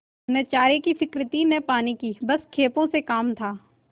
न चारे की फिक्र थी न पानी की बस खेपों से काम था